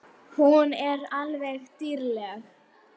Hún er alveg dýrleg!